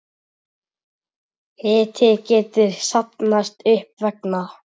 Hiti getur safnast upp vegna